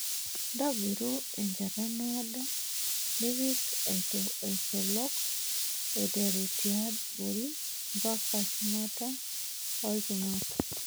Ntobiru enchata naado nipik aitolok aiteru tiabori ompaka shumata olchumati.